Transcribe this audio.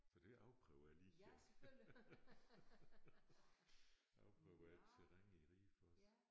Så det afprøver jeg lige afprøve terrænet i Ribe også